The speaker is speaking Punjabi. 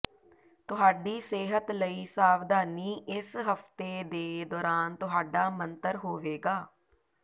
ਤੁਹਾਡੀ ਸਿਹਤ ਲਈ ਸਾਵਧਾਨੀ ਇਸ ਹਫਤੇ ਦੇ ਦੌਰਾਨ ਤੁਹਾਡਾ ਮੰਤਰ ਹੋਵੇਗਾ